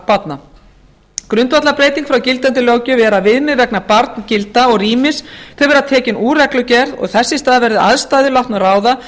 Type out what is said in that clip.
leikskólabarna grundvallarbreyting frá gildandi löggjöf er að viðmið vegna barngilda og rýmis verða tekin úr reglugerð og þess í stað verði aðstæður látnar ráða